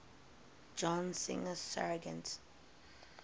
john singer sargent